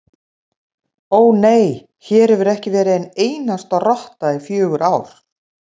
Ó, nei, hér hefur ekki verið ein einasta rotta í fjögur ár